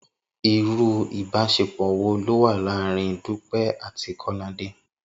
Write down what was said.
Irú ìbáṣepọ̀ wo ló wà láàárín Dúpẹ́ àti Kọ́ládé?